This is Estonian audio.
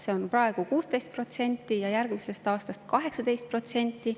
See on praegu 16% ja järgmisest aastast 18%.